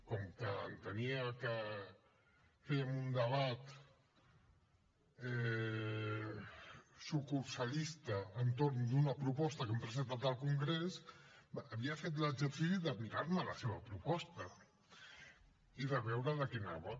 com que entenia que fèiem un debat sucursalista entorn d’una proposta que hem presentat al congrés havia fet l’exercici de mirar me la seva proposta i de veure de què anava